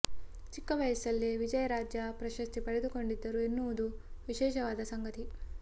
ಚಿಕ್ಕ ವಯಸ್ಸಲ್ಲೇ ವಿಜಯ್ ರಾಜ್ಯ ಪ್ರಶಸ್ತಿ ಪಡೆದುಕೊಂಡಿದ್ದರು ಎನ್ನುವುದು ವಿಶೇಷವಾದ ಸಂಗತಿ